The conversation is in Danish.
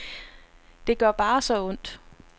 Det gør bare så ondt.